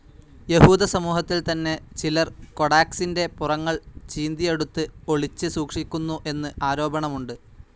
യഹൂദസമൂഹത്തിൽ തന്നെ ചിലർ കൊഡാക്സിൻ്റെ പുറങ്ങൾ ചീന്തിയെടുത്ത് ഒളിച്ച് സൂക്ഷിക്കുന്നു എന്ന് ആരോപണമുണ്ട്.